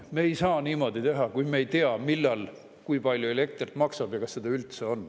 Nad ei saa niimoodi teha, kui nad ei tea, millal kui palju elekter maksab ja kas seda üldse on.